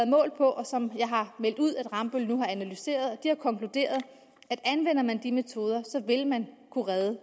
målt på jeg har meldt ud at rambøll har analyseret dem har konkluderet at anvender man de metoder vil man kunne redde